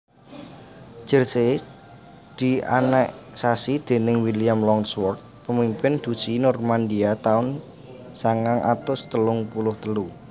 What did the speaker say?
Jersey dianeksasi déning William Longsword pemimpin Duchy Normandia taun sangang atus telung puluh telu